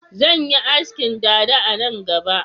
Zan yi askin dada a nan gaba